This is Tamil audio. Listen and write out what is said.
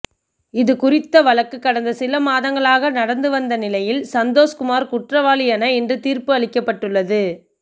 இதுகுறித்த வழக்கு கடந்த சில மாதங்களாக நடந்து வந்த நிலையில் சந்தோஷ்குமார் குற்றவாளி என இன்று தீர்ப்பு அளிக்கப்பட்டுள்ளது